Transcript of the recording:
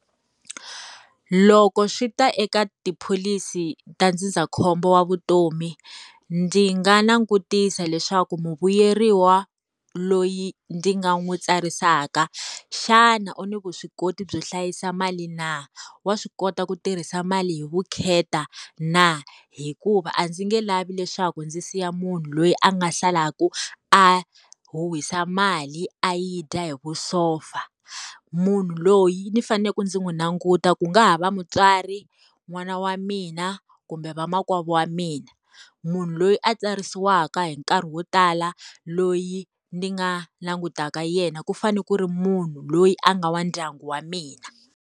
Loko swi ta eka tiphilisi ta ndzindzakhombo wa vutomi, ndzi nga langutisa leswaku muvuyeriwa loyi ndzi nga n'wi tsarisaka, xana u ni vuswikoti byo hlayisa mali na? Wa swi kota ku tirhisa mali hi vukheta na? Hikuva a ndzi nge lavi leswaku ndzi siya munhu loyi a nga salaku a huhwisa mali, a yi dya hi vusopfa. Munhu loyi ni fanele ku ndzi n'wi languta ku nga ha va mutswari, n'wana wa mina, kumbe vamakwavo wa mina. Munhu loyi a tsarisiwaka hi nkarhi wo tala, loyi ni nga langutaka yena ku fanele ku ri munhu loyi a nga wa ndyangu wa mina.